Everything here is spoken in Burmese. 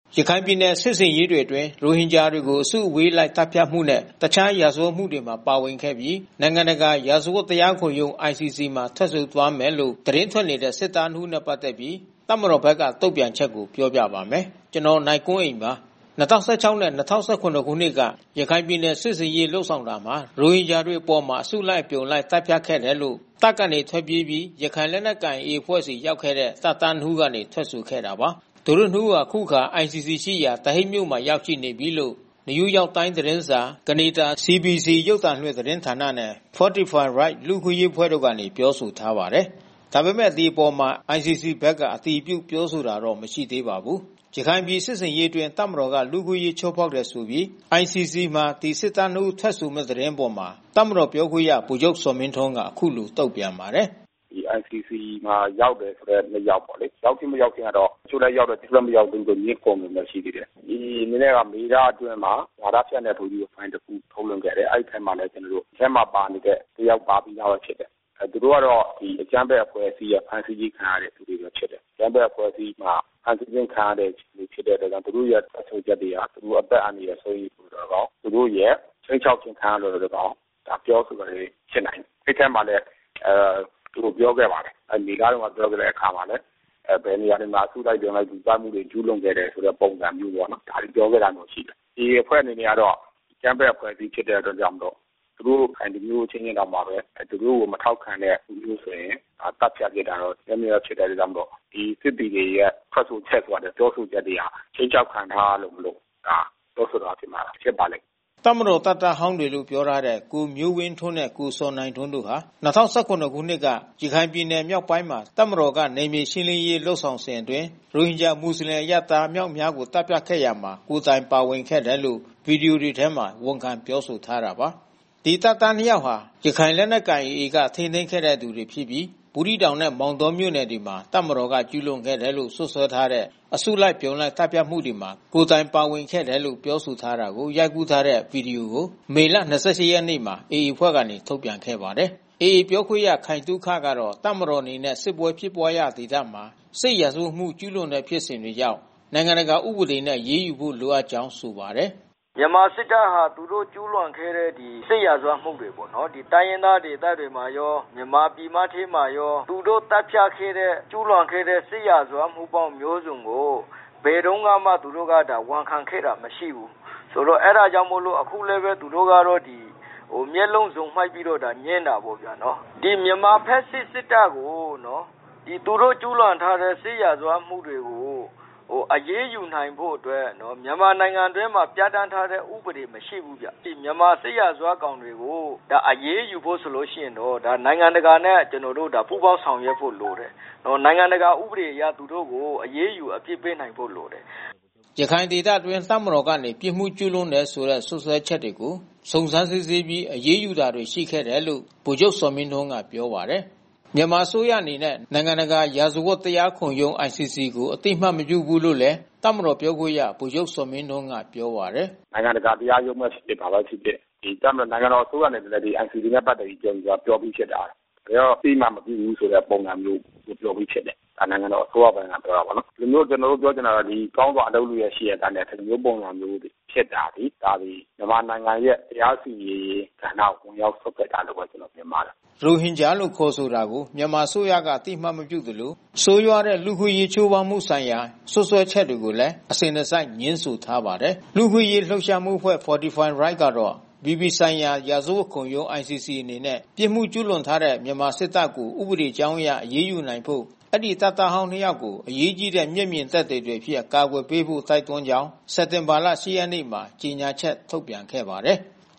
ရခိုင်ပြည်နယ် စစ်ဆင်ရေးတွေအတွင်း ရိုဟင်ဂျာတွေကို အစုအဝေးလိုက် သတ်ဖြတ်မှုနဲ့ တခြားရာဇဝတ်မှုတွေမှာ ပါဝင်ခဲ့ပြီး နိုင်ငံတကာ ရာဇဝတ်တရားခုံရုံး (ICC) မှာ ထွက်ဆိုသွားမယ်လို့ သတင်းထွက်နေတဲ့ စစ်သား နှစ်ဦးနဲ့ ပတ်သက်ပြီး တပ်မတော်ဘက်က တုံ့ပြန်ချက်ကို ဗွီအိုအေမြန်မာပိုင်းသတင်းထောက် နိုင်ကွန်းအိန်က ပြောပြပါမယ်။ ၂၀၁၆ နဲ့ ၂၀၁၇ ခုနှစ်က ရခိုင်ပြည်နယ်စစ်ဆင်ရေး လုပ်ဆောင်တာမှာ ရိုဟင်ဂျာတွေအပေါ် အစုလိုက်အပြုံလိုက် သတ်ဖြတ်ခဲ့တယ်လို့ တပ်ကနေထွက်ပြေးပြီး ရခိုင်လက်နက်ကိုင်AAအဖွဲ့ဆီ ရောက်ခဲ့တဲ့ တပ်မတော်သားနှစ်ဦးက ထွက်ဆိုခဲ့တာပါ။ သူတို့နှစ်ဦးဟာ အခုအခါ ICC ရှိရာ The Hague မြို့မှာ ရောက်နေပြီလို့ New York Times သတင်းစာ၊ ကနေဒါ CBC ရုပ်သံလွှင့်သတင်းဌာနနဲ့ Fortify Rights လူ့အခွင့်အရေးအဖွဲ့တို့က ပြောထားပါတယ်။ ဒါပေမဲ့လည်း ဒီအပေါ် ICC ဘက်က အတည်ပြုပြောဆိုတာတော့ မရှိသေးပါဘူး။ ရခိုင်ပြည်စစ်ဆင်ရေးအတွင်း တပ်မတော်က လူ့အခွင့်အရေး ချိုးဖောက်ထားတယ်ဆိုပြီး ICC မှာ ဒီစစ်သား နှစ်ဦး ထွက်ဆိုမယ်ဆိုတဲ့ သတင်းအပေါ် တပ်မတော်ပြောခွင့်ရ ဗိုလ်ချုပ်ဇော်မင်းထွန်းက အခုလို တုံ့ပြန်ပါတယ်။ "ICC မှာရောက်တယ်ဆိုတဲ့ နှစ်ယောက်ပေါ့လေ။ ရောက်ခြင်း၊ မရောက်ခြင်းကတော့ တချို့လည်းရောက်တယ်၊ တချို့လည်း မရောက်ဘူး ငြင်းခုန်နေတာ ရှိသေးတယ်။ AA အနေနဲ့ကမေလအတွင်းမှာ ဝါဒဖြန့်တဲ့ ဗွီဒီယိုဖိုင်တခု ထုတ်လွှင့်ခဲ့တယ်။ အဲဒီအထဲမှာလည်း ကျနော်တို့ ဒီအထဲမှာပါနေတဲ့ တယောက်ပါပြီးသား ဖြစ်နေတယ်။ သူတို့ကတော့ အကြမ်းဖက်အဖွဲ့အစည်းရဲ့ ဖမ်းဆီးခြင်းခံရတဲ့သူတွေပဲ ဖြစ်တယ်။ အကြမ်းဖက်အဖွဲ့အစည်းက ဖမ်းဆီးခြင်းခံရတဲ့သူ ဖြစ်တဲ့အတွက်ကြောင့် သူတို့ရဲ့ထွက်ဆိုချက်တွေဟာ သူတို့အသက်အန္တရာယ် စိုးရိမ်သော်လည်းကောင်း၊ သူတို့ ခြိမ်းခြောက်ခံရတဲ့သော်လည်းကောင်း ဒါပြောဆိုတာဖြစ်နိုင်တယ်။ အဲဒီအထဲမှာလည်း သူတို့ ပြောခဲ့ပါတယ်။ အနေအထားထဲမှာ ပြောခဲ့တဲ့အခါမှာလည်း ဘယ်နေရာတွေမှာ အစုလိုက်အပြုံလိုက်လူသတ်မှုတွေ ကျူးလွန်ခဲ့တဲ့ ပုံစံမျိုးပေါ့နော်။ ဒါတွေပြောခဲ့တာတော့ ရှိတယ်။ AA အဖွဲ့အနေနဲ့ကတော့ အကြမ်းဖက်အဖွဲ့အစည်းဖြစ်တဲ့အတွက်ကြောင့်မို့လို့ သူတို့ ရခိုင်လူမျိုးအချင်းချင်းတောင်မှပဲ သူတို့ကို မထောက်ခံတဲ့သူမျိုးဆိုရင် သတ်ဖြတ်ပစ်တာတို့ မျက်မြင်ဖြစ်တဲ့ ကိစ္စမို့လို့ ဒီစစ်သည်တွေရဲ့ထွက်ဆိုချက် ပြောဆိုချက်တွေဟာ ခြိမ်းခြောက်ခံထားရတာမို့လို့ ပြောဆိုတာ ဖြစ်ပါလိမ့်မယ်။" တပ်မတော် တပ်သားဟောင်းတွေလို့ ပြောထားတဲ့ ကိုမျိုးဝင်းထွန်းနဲ့ ကိုဇော်နိုင်ထွန်းတို့ဟာ ၂ဝ၁၇ ခုနှစ်က ရခိုင်ပြည်နယ်မြောက်ပိုင်းမှာ တပ်မတော်က နယ်မြေရှင်းလင်းရေး လုပ်ဆောင်စဉ်အတွင်း ရိုဟင်ဂျာ မွတ်ဆလင်အရပ်သား အမြောက်အမြားကို သတ်ဖြတ်ခဲ့ရာမှာ ကိုယ်တိုင်ပါဝင်ခဲ့တယ်လို့ ဗွီဒီယိုထဲမှာ ဝန်ခံ ပြောဆိုထားတာပါ။ ဒီတပ်သားနှစ်ယောက်ဟာ ရခိုင်လက်နက်ကိုင် AA က ထိန်းသိမ်းခဲ့တဲ့သူတွေဖြစ်ပြီး ဘူးသီးတောင်နဲ့ မောင်တောမြို့နယ်တွေမှာ တပ်မတော်က ကျူးလွန်ခဲ့တယ်လို့ စွပ်စွဲထားတဲ့ အစုလိုက် အပြုံလိုက် သတ်ဖြတ်မှုတွေမှာ ကိုယ်တိုင်ပါဝင်ခဲ့တယ်လို့ ပြောထားတာကို ရိုက်ယူထားတဲ့ ဗွီဒီယိုကို မေလ ၂၈ ရက်နေ့ မှာ AA အဖွဲ့က ထုတ်ပြန်ခဲ့ပါတယ်။ AA ပြောခွင့်ရ ခိုင်သုခကတော့ တပ်မတော်အနေနဲ့ စစ်ပွဲဖြစ်ပွားရာဒေသမှာ စစ်ရာဇဝတ်မှုကျူးလွန်တဲ့ဖြစ်စဉ်တွေကြောင့် နိုင်ငံတကာဥပဒေနဲ့ အရေးယူဖို့ လိုအပ်ကြောင်းဆိုပါတယ်။ "မြန်မာစစ်တပ်တွေဟာ သူတို့ ကျူးလွန်ခဲ့တဲ့စစ်ရာဇဝတ်မှုတွေပေါ့နော်... ဒီတိုင်းရင်းသားဒေသတွေမှာရော၊ မြန်မာပြည်မထဲမှာရော သူတို့သတ်ဖြတ်ခဲ့တဲ့ ကျူးလွန်ခဲ့တဲ့ စစ်ရာဇဝတ်မှုပေါင်းမျိုးစုံကို ဘယ်တုန်းကမှ သူတို့ ဝန်ခံခဲ့တာမရှိဘူး။ အဲဒါကြောင့်မို့လို့ အခုလည်းပဲ သူတို့ကတော့ မျက်လုံးစုံမှိတ်ပြီးတော့ ငြင်းတာပေါ့ဗျာနော်။ ဒီမြန်မာ ဖက်ဆစ်စစ်တပ်ကို သူတို့ ကျူးလွန်ထားတဲ့ စစ်ရာဇဝတ်မှုတွေကို အရေးယူနိုင်ဖို့အတွက် မြန်မာနိုင်ငံအတွင်းမှာ ပြဌာန်းထားတဲ့ ဥပဒေမရှိဘူးဗျ။ မြန်မာစစ်ရာဇဝတ်ကောင်တွေကို အရေးယူဖို့ဆိုလို့ရှိရင်တော့ နိုင်ငံတကာနဲ့ ပူးပေါင်းဆောင်ရွက်ဖို့လိုတယ်။ နိုင်ငံတကာဥပဒေအရ သူတို့ကို အရေးယူအပြစ်ပေးနိုင်ဖို့ လိုတယ်။" ရခိုင်ဒေသအတွင်း တပ်မတော်ကနေ ပြစ်မှုကျူးလွန်တယ်ဆိုတဲ့ စွပ်စွဲချက်တွေကို စုံစမ်းစစ်ဆေးပြီး အရေးယူတာ ရှိတယ်လို့ ဗိုလ်ချုပ်ဇော်မင်းထွန်းက ပြောပါတယ်။ မြန်မာအစိုးရအနေနဲ့ နိုင်ငံတကာ ရာဇဝတ်တရားခုံရုံး (ICC) ကို အသိမှတ်မပြုဘူးလို့လည်း တပ်မတော်ပြောခွင့်ရ ဗိုလ်ချုပ်ဇော်မင်းထွန်းက ပြောပါတယ်။ "နိုင်ငံတကာတရားရုံးပဲဖြစ်ဖြစ်၊ ဘာပဲဖြစ်ဖြစ် ဒီတပ်မတော် နိုင်ငံတော်အစိုးရအနေနဲ့ ဒီ ICC နဲ့ ပတ်သက်ပြီး ပြောပြီးသားဖြစ်တယ်။ ဘယ်တော့ အသိမှတ်မပြုဘူးဆိုတဲ့ ပုံစံမျိုး ပြောပြီးဖြစ်တယ်။ ဒါနိုင်ငံတော်အစိုးရပိုင်က ပြောတာပေါ့နော်။ ဒီလိုမျိုး ကျနော်တို့ ပြောချင်တာကတော့ ကောင်းစွာအလုပ်လုပ်သား ရှိရဲ့သားနဲ့ ဒီလိုမျိုးပုံစံ ဖြစ်တာသည် ဒါသည် မြန်မာနိုင်ငံရဲ့ တရားစီရင်ရေးကဏ္ဍကို ဝင်ရောက်စွက်ဖက်တာပဲ ကျနော် မြင်ပါတယ်။" ရိုဟင်ဂျာလို့ ခေါ်ဆိုတာကို မြန်မာအစိုးရက အသိအမှတ်မပြုသလို ဆိုးရွားတဲ့ လူ့အခွင့်အရေး ချိုးဖောက်မှုဆိုင်ရာ စွပ်စွဲချက်တွေကိုလည်း အစဉ်တစိုက် ငြင်းဆိုထားပါတယ်။ လူ့အခွင့်အရေးလှုပ်ရှားမှုအဖွဲ့ Fortify Rights ကတော့ အပြည်ပြည်ဆိုင်ရာ ရာဇဝတ်ခုံရုံး ICC အနေနဲ့ ပြစ်မှုကျူးလွန်တဲ့မြန်မာစစ်တပ်ကို ဥပဒေကြောင်းအရ အရေးယူနိုင်ဖို့ အဲဒီတပ်သားဟောင်း နှစ်ယောက်ကို အရေးကြီးတဲ့ မျက်မြင်သက်သေတွေအဖြစ် အကာအကွယ်ပေးဖို့ တိုက်တွန်းကြောင်း စက်တင်ဘာ ၈ ရက်နေ့မှာ ကြေညာချက် ထုတ်ပြန်ခဲ့ပါတယ်။